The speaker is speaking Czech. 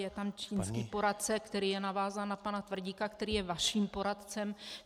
Je tam čínský poradce, který je navázán na pana Tvrdíka, který je vaším poradcem.